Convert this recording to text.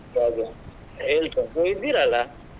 ಹಾಗೆ ಹೇಳ್ತೇನೆ ನೀವ್ ಇದ್ದೀರಲ್ಲ?